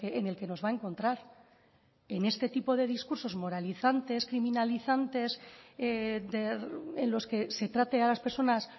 en el que nos va a encontrar en este tipo de discursos moralizantes criminalizantes en los que se trate a las personas